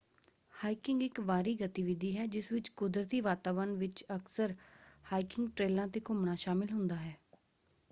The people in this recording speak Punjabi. ਹਾਈਕਿੰਗ ਇੱਕ ਬਾਹਰੀ ਗਤੀਵਿਧੀ ਹੈ ਜਿਸ ਵਿੱਚ ਕੁਦਰਤੀ ਵਾਤਾਵਰਣ ਵਿੱਚ ਅਕਸਰ ਹਾਈਕਿੰਗ ਟ੍ਰੇਲਾਂ ‘ਤੇ ਘੁੰਮਣਾ ਸ਼ਾਮਲ ਹੁੰਦਾ ਹੈ।